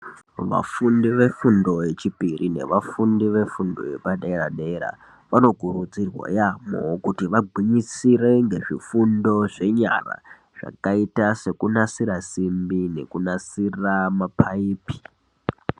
Vafundi vefundo yechipiri nevafundi vefundo yepadera-dera vanokurudzirwa yaamho kuti vagwinyisire ngezvifundo zvenyara zvakaita sekunasira simbi nekunasira maphaipi.